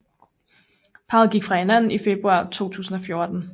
Parret gik fra hinanden i februar 2014